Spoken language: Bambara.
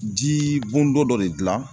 Ji bɔndo dɔ de gilan